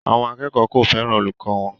Àwọn akẹ́kọ̀ọ́ kò fẹ́ràn olùkọ́ wọn